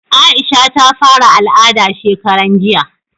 Aisha ta fara al'ada shekaran jiya